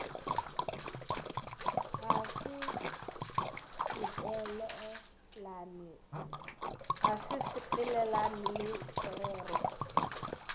ga se sepelelane le sererwa